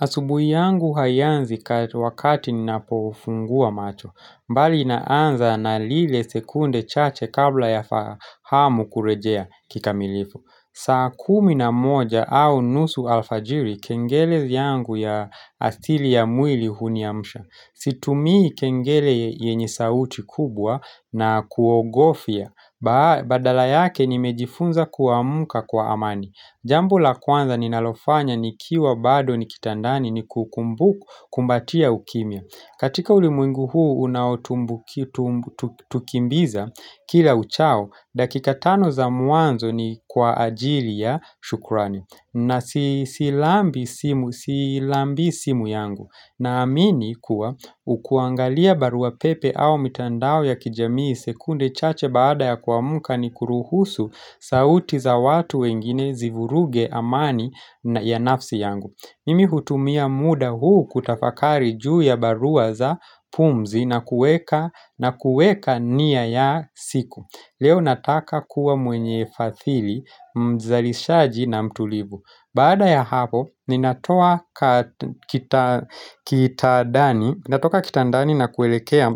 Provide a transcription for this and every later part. Asubuhi yangu haianzi wakati ninapofungua macho, mbali inaanza na lile sekunde chache kabla ya fahamu kurejea kikamilifu. Saa kumi na moja au nusu alfajiri, kengele vyangu ya asili ya mwili huniamsha. Situmii kengele yenye sauti kubwa na kuogofya, badala yake nimejifunza kuamka kwa amani. Jambo la kwanza ninalofanya nikiwa bado ni kitandani ni kukumbukumbatia ukimya. Katika ulimwengu huu unaotumbu tukimbiza kila uchao, dakika tano za muanzo ni kwa ajili ya shukurani. Na silambi simu yangu Naamini kuwa ukuangalia barua pepe au mitandao ya kijamii sekunde chache baada ya kuamuka ni kuruhusu sauti za watu wengine zivuruge amani ya nafsi yangu Mimi hutumia muda huu kutafakari juu ya barua za pumzi na kueka nia ya siku Leo nataka kuwa mwenye fathili mzalishaji na mtulivu baada ya hapo ninatoa kitadani natoka kitandani nakuelekea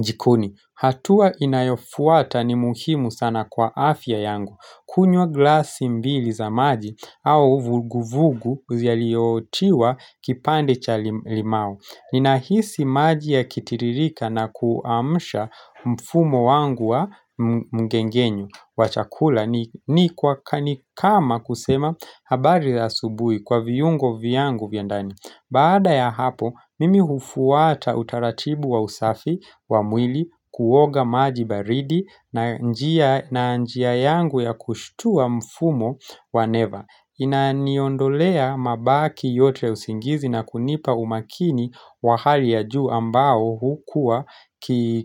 jikoni hatua inayofuata ni muhimu sana kwa afya yangu kunywa glasi mbili za maji au vuguvugu yaliyotiwa kipande cha limau ninahisi maji ya kitiririka nakuamsha mfumo wangu wa mngengenyo wa chakula ni kwa kama kusema habari za subui kwa viungo vyangu vyandani baada ya hapo mimi hufuata utaratibu wa usafi wa mwili kuoga maji baridi na njia na njia yangu ya kushitua mfumo wa neva inaniondolea mabaki yote usingizi na kunipa umakini wa hali ya juu ambao hukuwa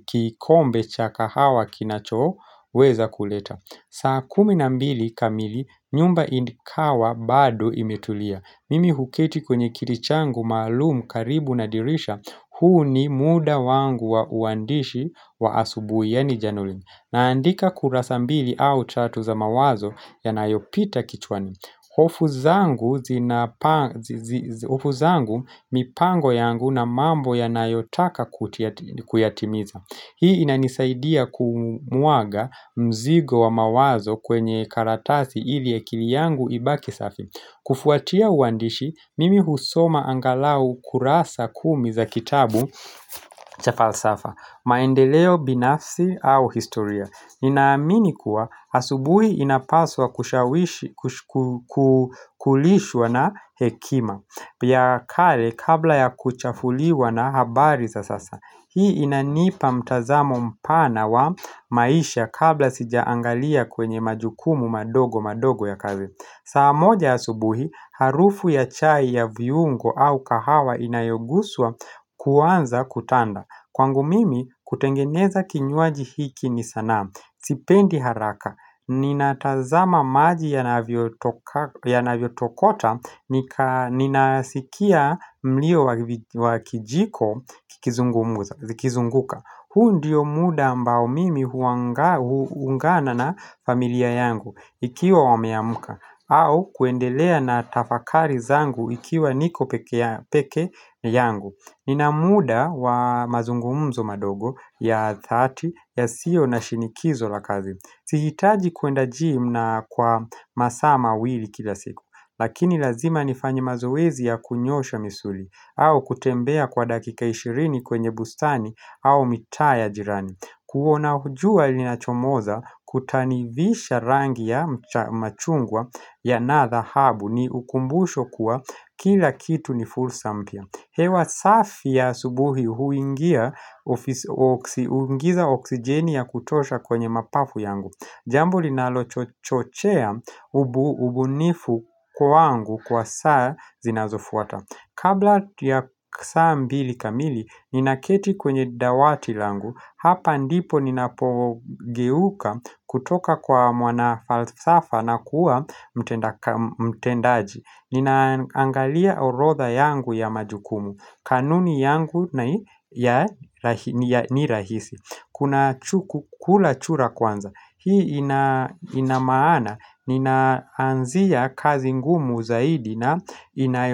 kikombe chakahawa kinachoo weza kuleta saa kumi na mbili kamili nyumba ikawa bado imetulia mimi huketi kwenye kilichangu maalumu karibu na dirisha huu ni mudawangu wa uandishi wa asubu yani januli naandika kurasa mbili au tatu za mawazo yanayopita kichwani ofu zangu mipango yangu na mambo yanayotaka kuyatimiza hii inanisaidia kumwaga mzigo wa mawazo kwenye karatasi ili akili yangu ibaki safi kufuatia uwandishi mimi husoma angalau kurasa kumi za kitabu cha falsafa maendeleo binafsi au historia ninaamini kuwa asubui inapaswa kushawishi kulishwa na hekima ya kale kabla ya kuchafuliwa na habari za sasa hii inanipa mtazamo mpana wa maisha kabla sijaangalia kwenye majukumu madogo madogo ya kazi saa moja asubuhi harufu ya chai ya viungo au kahawa inayoguswa kuwanza kutanda kwangu mimi kutengeneza kinywaji hiki ni sana sipendi haraka ninatazama maji yanavyo tokota ninasikia mlio wa kijiko zikizunguka huu ndiyo muda ambao mimi huungana na familia yangu ikiwa wameamka au kuendelea na tafakari zangu ikiwa niko pekeyangu ninamuda wa mazungumzo madogo ya dhati yasio na shinikizo la kazi sihitaji kwenda jim na kwa masaa mawili kila siku lakini lazima nifanye mazoezi ya kunyosha misuli au kutembea kwa dakika ishirini kwenye bustani au mitaa ya jirani huona jua linachomoza kutanivisha rangi ya machungwa yana dhahabu ni ukumbusho kuwa kila kitu ni fulsa mpya hewa safi ya subuhi huingiza oksijeni ya kutosha kwenye mapafu yangu Jambo linalo chochea ubunifu kwangu kwa saa zinazofuata kabla ya saa mbili kamili nina keti kwenye dawati langu hapa ndipo ninapogeuka kutoka kwa mwana falsafa na kuwa mtenda mtendaji ninaangalia orotha yangu ya majukumu kanuni yangu ni rahisi kula chura kwanza hii inamaana ninaanzia kazi ngumu zaidi na inayo.